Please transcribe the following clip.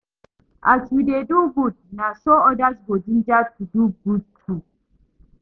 As yu dey do gud na so odas go ginger to do gud too